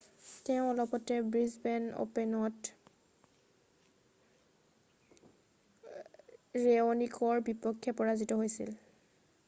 তেওঁ অলপতে ব্ৰিছবেন অ'পেনত ৰেঅ'নিকৰ বিপক্ষে পৰাজিত হৈছিল৷